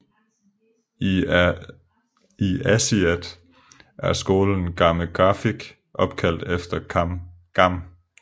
I Aasiaat er skolen Gammeqarfik opkaldt efter Gam